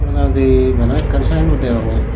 madi bana ekkan sine bord degongye.